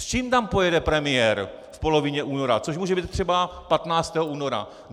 S čím tam pojede premiér v polovině února, což může být třeba 15. února?